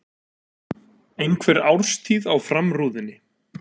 Einhver árstíð á framrúðunni.